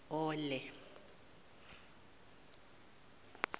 ole